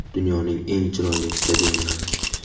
Dunyoning eng chiroyli stadionlari .